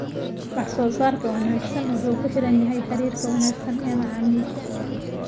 Wax soo saarka wanaagsan wuxuu ku xiran yahay xiriirka wanaagsan ee macaamiisha.